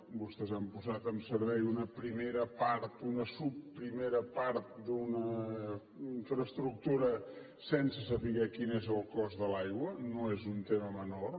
vostès han posat en servei una primera part una subprimera part d’una infraestructura sense saber quin és el cost de l’aigua no és un tema menor